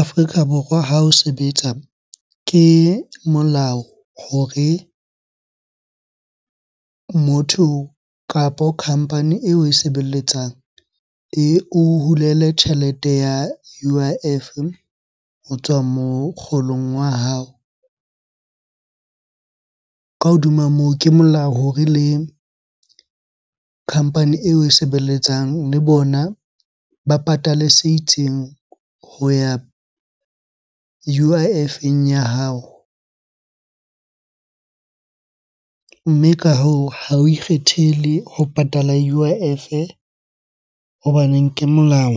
Afrika Borwa ha o sebetsa ke molao hore motho kapo company eo oe sebeletsang eo hulele tjhelete ya U_I_F ho tswa mokgolong wa hao. Ka hodima moo, ke molao hore le company eo oe sebeletsang le bona ba patale se itseng ho ya U_I_F-eng, ya hao. Mme ka hoo, ha o ikgethele ho patala U_I_F hobaneng ke molao.